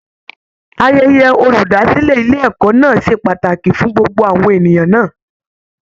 Ayẹyẹ olúdásílẹ̀ ilé ẹ̀kọ́ náà ṣe pàtàkì fún gbogbo àwọn ènìyàn náà